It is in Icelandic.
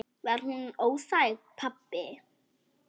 Var hún óþæg, pabbi?